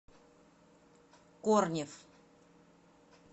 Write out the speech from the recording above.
корнев